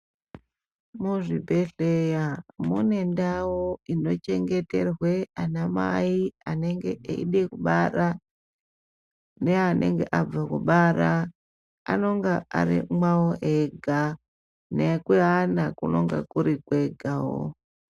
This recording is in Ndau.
Muzvibhedhleya mune ndau inochengeterwe anamai anenge eide kubara, neanenge abve kubara,.Anonga ari mwavo ega, nekuana kunenge kuti kwegawo.